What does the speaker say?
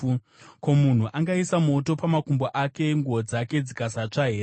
Ko, munhu angaisa moto pamakumbo ake, nguo dzake dzikasatsva here?